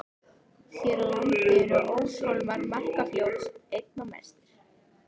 Hér á landi eru óshólmar Markarfljóts einna mestir.